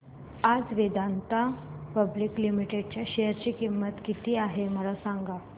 आज Vedanta public limited च्या share ची किंमत किती आहे मला सांगा